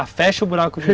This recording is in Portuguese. Ah, fecha o buraco de novo.